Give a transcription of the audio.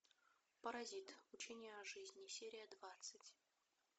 паразит учение о жизни серия двадцать